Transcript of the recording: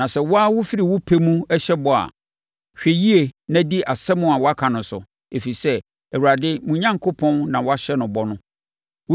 Na sɛ wo ara wofiri wo pɛ mu hyɛ bɔ a, hwɛ yie na di asɛm a woaka no so, ɛfiri sɛ, Awurade, mo Onyankopɔn na woahyɛ no bɔ no.